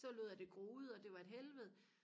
så lod jeg det gro ud og det var et helvede